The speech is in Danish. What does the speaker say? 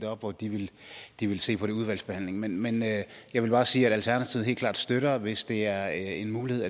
op og det vil de se på i udvalgsbehandlingen men jeg vil bare sige at alternativet helt klart støtter det hvis det er en mulighed